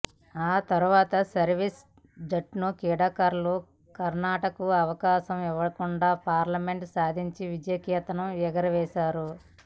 ఆ తరువాత సర్వీసెస్ జట్టు క్రీడాకారులు కర్నాటకకు అవకాశం ఇవ్వకుండా పాయింట్లు సాధించి విజయకేతనం ఎగరేశారు